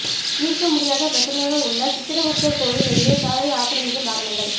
தீர்க்க முடியாத பிரச்னையாக உள்ள சித்திரகுப்தர் கோயில் எதிரே சாலையை ஆக்கிரமிக்கும் வாகனங்கள்